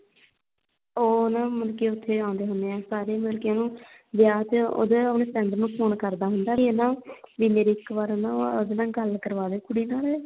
ਉਹ ਨਾ ਮਤਲਬ ਕੀ ਉੱਥੇ ਆਉਂਦੇ ਹੁੰਨੇ ਆ ਸਾਰੇ ਮਤਲਬ ਕੀ ਉਹਨੂੰ ਵਿਆਹ ਚ ਉਹਦੇ ਉਹਨੂੰ friend ਨੂੰ ਫੋਨ ਕਰਦਾ ਹੁੰਦਾ ਵੀ ਨਾ ਵੀ ਮੇਰੀ ਇੱਕ ਵਾਰ ਨਾ ਉਹਦੇ ਨਾਲ ਗੱਲ ਕਰਵਾਦੇ ਕੁੜੀ ਨਾਲ